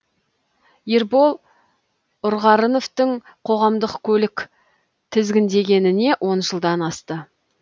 ербол ұрғарыновтың қоғамдық көлік тізгіндегеніне он жылдан асты